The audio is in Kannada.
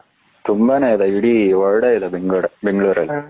ತುಂಬಾನೇ ಇದೆ ಇಡೀ world ಇದೆ ಬೆಂಗಳೂರಲ್ಲಿ.